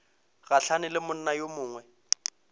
gahlane le monna yo mongwe